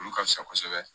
Olu ka fisa kosɛbɛ